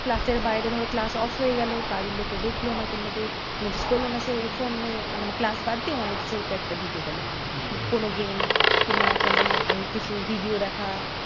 Class এর বাইরে ধরো class off হয়ে গেলো, বাড়ির লোকে দেখলো না। কিংবা কেউ notice করলো না, সে এই ফোন নিয়ে সে মানে class বাদ দিয়ে অন্য কিছুর একটা ঢুকে গেলো। হম হম কোনো game কিংবা কোনো এই কিছু video দেখা